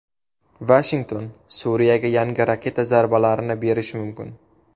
Vashington Suriyaga yangi raketa zarbalarini berishi mumkin.